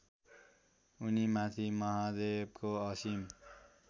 उनीमाथि महादेवको असीम